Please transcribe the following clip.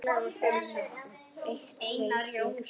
En eitt veit ég þó.